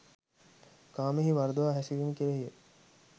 කාමයෙහි වරදවා හැසිරීම කෙරෙහි ය.